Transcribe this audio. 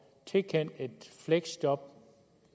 tilkendt et fleksjob på